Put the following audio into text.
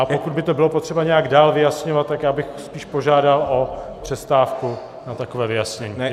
A pokud by to bylo potřeba nějak dál vyjasňovat, tak já bych spíš požádal o přestávku na takové vyjasnění.